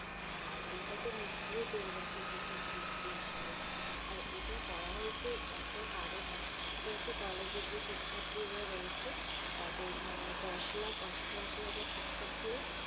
আর এইটা তো মুক্তিও পেয়ে গেছে প্রথম কিস্তি হিসেবে আর এইটা করা হয়েছে একটা কারণে সেটা হচ্ছে college এর যে শিক্ষার্থীরা রয়েছে তাদের মানে দশ লাখ অষ্টআশি হাজার শিক্ষার্থীরা,